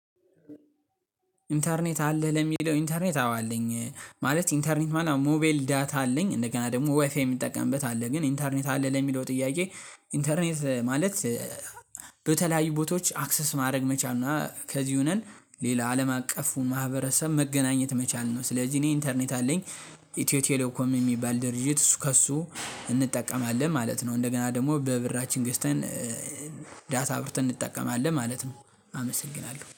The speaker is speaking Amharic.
ኢንተርኔት አለ ለሚለው ኢንተርኔት አዎ አለኝ ማለት ኢንተርኔት ሞባይል ዳት አለኝ እንደገና ደግሞ ዋይፋይ የሚጠቀምበት አለ ግን ኢንተርኔት አለ ለሚለው ጥያቄ ኢንተርኔት ማለት በተለያዩ ቦታዎች አክሰስ ማድረግ መቻል ነው። ከዚህ ሆነን ሌላ አለም አቀፉን ማህበረሰብ መገናኘት መቻል ነው። ስለዚህ እኔ ኢንተርኔት አለኝ። ኢትዮ ቴሌኮም የሚባል ድርጅት እሱ ከእሱ እንጠቀማለን ማለት ነው። እንደገና ደግሞ በብራችን ገዝተን ዳታ አብርተን እንጠቀማለን ማለት ነው። አመሰግናለሁ